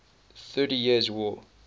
thirty years war